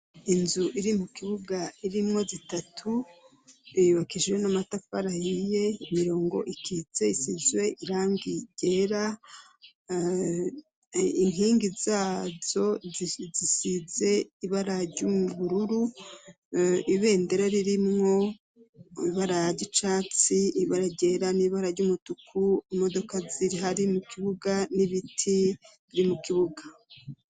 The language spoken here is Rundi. Inzu iri mu kibuga irimwo zitatu iyubakisijwe n'amataparayiye imirongo ikitse isizwe irangigera inkingi zazo zisize ibara ry'ubururu ibendera ririmwo ibara ry'icatsi ibara ryera n'ibara ry'umutuku imodoka ziri hari mu kibuga n'ibiti biri mu kibuga.